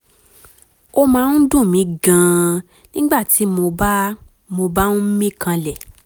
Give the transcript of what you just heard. ó máa ń dùn mí gan-an nígbà tí mo bá mo bá ń mí kanlẹ̀